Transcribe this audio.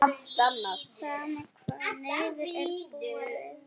Sama hvar niður er borið.